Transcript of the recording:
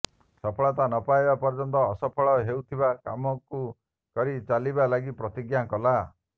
ସଫଳତା ନ ପାଇବା ପର୍ଯ୍ୟନ୍ତ ଅସଫଳ ହେଉଥିବା କାମକୁ କରି ଚାଲିବା ଲାଗି ପ୍ରତିଜ୍ଞା କଲା